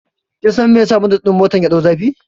Kin san me yasa bonet ɗin motar ya ɗau zafi?